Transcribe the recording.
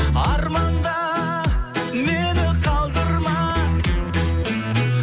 арманда мені қалдырма